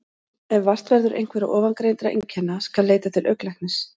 Ef vart verður einhverra ofangreindra einkenna skal leita til augnlæknis.